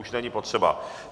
Už není potřeba.